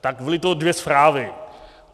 Tak byly to dvě zprávy.